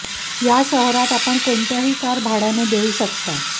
या शहरात कोणत्याही आपण कोणत्याही कार भाड्याने देऊ शकता